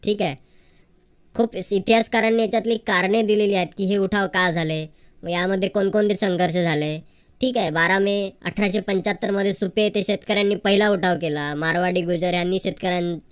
ठीक आहे. खूप इतिहासकारांनी यांच्यातली कारणे दिलेली आहेत की हे उठाव का झाले. यामध्ये कोणकोणते संघर्ष झाले. ठीक आहे. बारा मे अठराशे पंच्याहत्तर मध्ये सुप्रिया येथे शेतकऱ्यांनी पहिला उठाव केला मारवाडी गुजर यानी शेतकऱ्यांन